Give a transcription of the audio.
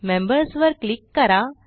members वर click करा